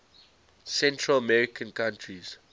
central american countries